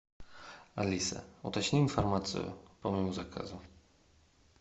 алиса уточни информацию по моему заказу